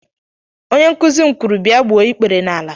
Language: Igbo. Onye nkuzi m kwuru, bia gbuo ikpere n'ala!